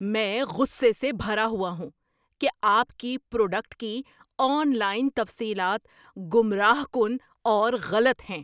میں غصے سے بھرا ہوا ہوں کہ آپ کی پروڈکٹ کی آن لائن تفصیلات گمراہ کن اور غلط ہیں۔